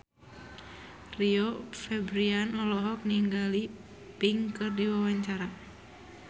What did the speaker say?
Rio Febrian olohok ningali Pink keur diwawancara